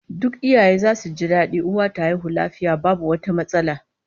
Duk iyaye zasu ji dadi uwa ta haihu lafiya babu wata matsala